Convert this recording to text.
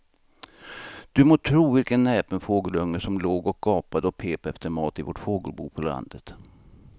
Du må tro vilken näpen fågelunge som låg och gapade och pep efter mat i vårt fågelbo på landet.